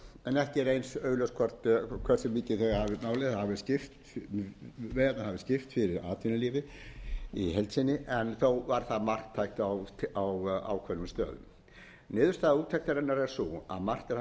hversu mikið veiðarnar hafi styrkt atvinnulífið í heild sinni en þó var það marktækt á ákveðnum stöðum niðurstaða úttektarinnar er sú að margt er hægt að